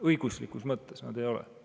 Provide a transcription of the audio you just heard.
Õiguslikus mõttes nad ei ole.